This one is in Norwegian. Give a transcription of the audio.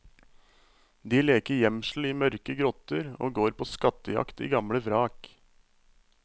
De leker gjemsel i mørke grotter og går på skattejakt i gamle vrak.